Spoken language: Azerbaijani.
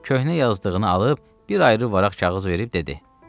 Köhnə yazdığını alıb bir ayrı vərəq kağız verib dedi.